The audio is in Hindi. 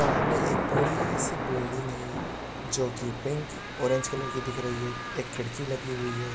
सामने एक बड़ी सी बिल्डिंग है जोकि पिंक ऑरेंज कलर की दिख रही है एक खिड़की लगी हुई है।